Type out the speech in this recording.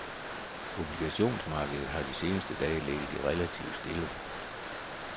Obligationsmarkedet har de seneste dage ligget relativt stille.